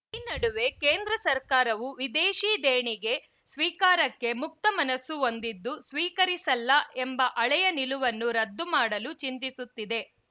ಈ ನಡುವೆ ಕೇಂದ್ರ ಸರ್ಕಾರವು ವಿದೇಶೀ ದೇಣಿಗೆ ಸ್ವೀಕಾರಕ್ಕೆ ಮುಕ್ತ ಮನಸ್ಸು ಹೊಂದಿದ್ದು ಸ್ವೀಕರಿಸಲ್ಲ ಎಂಬ ಹಳೆಯ ನಿಲುವನ್ನು ರದ್ದು ಮಾಡಲು ಚಿಂತಿಸುತ್ತಿದೆ